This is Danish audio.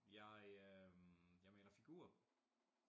Jeg øh jeg maler figurer